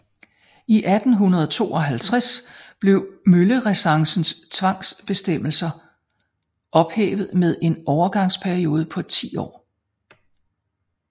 I 1852 blev møllerecessens tvangsbestemmelser ophævet med en overgangsperiode på 10 år